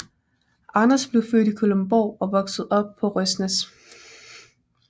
Anders blev født i Kalundborg og voksede op på Røsnæs